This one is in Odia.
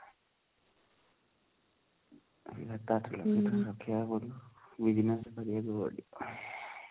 ସାତ ଆଠ ଲକ୍ଷ ଟଙ୍କା ରଖିବାକୁ ପଡିବ କରିବାକୁ ପଡିବ ହିଁ